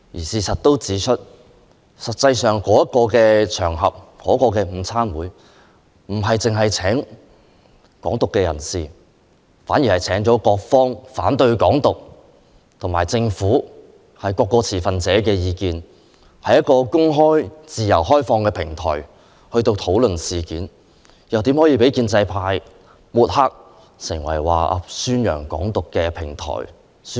事實上，該午餐會不只邀請港獨人士發表演說，還邀請了反對港獨的人士、政府代表和各方持份者，是一個公開、自由開放的討論平台，豈可被建制派抹黑為宣揚港獨的平台？